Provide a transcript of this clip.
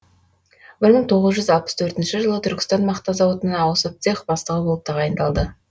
бір мың тоғыз жүз алпыс төртінші жылы түркістан мақта зауытына ауысып цех бастығы болып тағайындалды